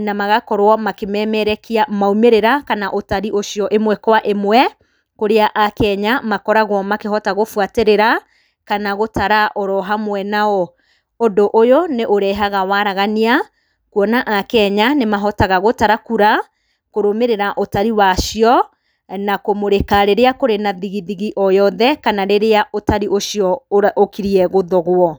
na ma gakorwo makĩmemerekia maimĩrĩra kana ũtari ũcio, ĩmwe kwa ĩmwe, kũrĩa a Kenya makoragwo makĩhota gũbwatĩrĩra, kana gũtara orohamwe nao, ũndũ ũyũ, nĩ ũrehaga waragania, kuona a Kenya, nĩ mahotaga gũtara kura, kũrũmĩrĩra ũtari wacio, na kũmũrĩka rĩrĩa kũrĩ na thigithigi o yothe, kana rĩrĩa ũtari ũcio ũra ũkirie gũthogwo,